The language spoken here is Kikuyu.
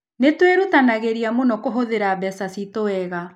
Nĩ twĩrutanagĩria mũno kũhũthĩra mbeca ciitũ wega.